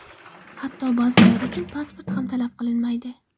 Hatto ba’zilari uchun pasport ham talab qilinmaydi.